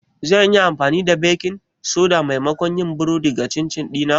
Zan iya amfani da baking soda maimakon yin burodi ga chin chin dina?